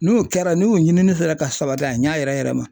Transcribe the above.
N'u kɛra n'u ɲinini sera ka sabati a ɲa yɛrɛ yɛrɛ ma